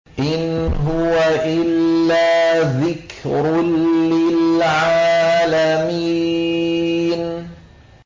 إِنْ هُوَ إِلَّا ذِكْرٌ لِّلْعَالَمِينَ